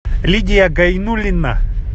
лидия гайнуллина